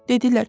Dedilər: